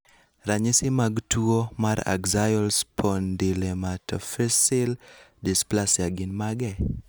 Ranyisi mag tuwo mar Axial spondylometaphyseal dysplasia gin mage?